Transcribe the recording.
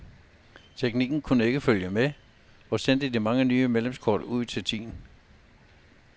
Teknikken kunne ikke følge med og sende de mange nye medlemskort ud til tiden.